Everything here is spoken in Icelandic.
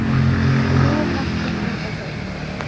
Nú máttu henda þeim.